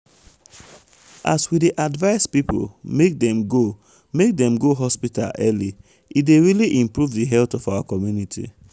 as we dey advise people make dem go make dem go hospital early e dey really improve di health of our community.